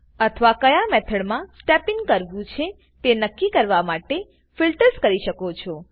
અથવા ક્યાં મેથડમાં સ્ટેપ ઇન કરવું છે તે નક્કી કરવા માટે ફિલટ્રસ કરી શકો છો